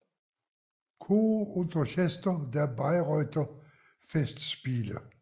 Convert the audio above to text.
Chor und Orchester der Bayreuther Festspiele